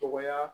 Dɔgɔya